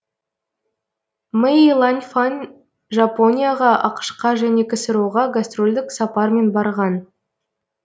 мэй ланьфан жапонияға ақш қа және ксро ға гастрольдік сапармен барған